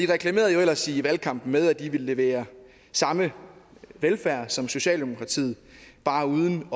reklamerede jo ellers i valgkampen med at de ville levere samme velfærd som socialdemokratiet bare uden